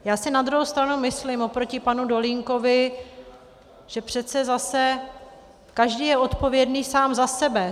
Já si na druhou stranu myslím, oproti panu Dolínkovi, že přece zase každý je odpovědný sám za sebe.